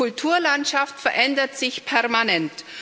Kulturlandschaft verändert sich permanent.